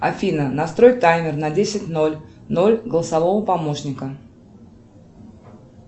афина настрой таймер на десять ноль ноль голосового помощника